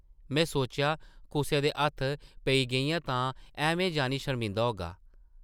में सोचेआ कुसै दे हत्थ पेई गेइयां तां तूं ऐह्में जानी शर्मिदा होगा ।